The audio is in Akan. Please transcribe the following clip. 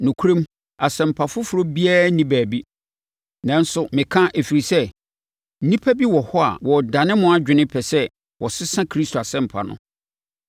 Nokorɛm, asɛmpa foforɔ biara nni baabi, nanso meka ɛfiri sɛ, nnipa bi wɔ hɔ a wɔredane mo adwene pɛ sɛ wɔsesa Kristo Asɛmpa no.